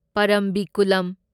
ꯄꯔꯝꯕꯤꯀꯨꯂꯝ